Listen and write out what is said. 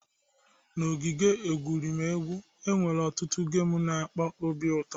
N'ogige egwuregwu, e nwere ọtụtụ gemu n'akpa obi ụtọ